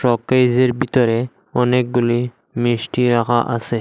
শোকেজের ভিতরে অনেকগুলি মিষ্টি রাখা আসে।